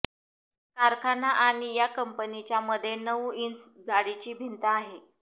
कारखाना आणि या कंपनीच्या मध्ये नऊ इंच जाडीची भिंत आहे